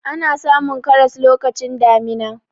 ana samun karas lokacin damina